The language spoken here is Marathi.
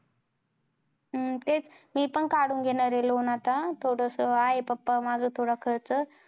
तेच मी पण कडून घेणार आहे loan आता थोडस आहे papa माझं थोडं खर्च